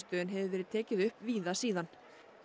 en hefur verið tekið upp víða síðan